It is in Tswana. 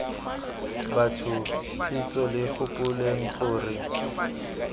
batho betsho lo gopoleng gore